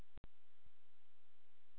Hvað er framundan í æfingaleikjum?